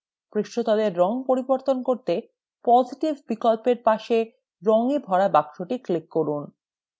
পৃষ্ঠতলের রঙ পরিবর্তন করতে: positive বিকল্পের পাশে রঙে ভরা box click করুন